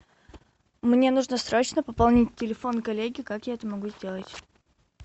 мне нужно срочно пополнить телефон коллеги как я могу это сделать